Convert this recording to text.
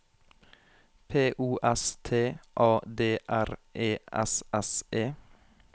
P O S T A D R E S S E